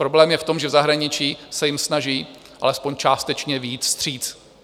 Problém je v tom, že v zahraničí se jim snaží alespoň částečně vyjít vstříc.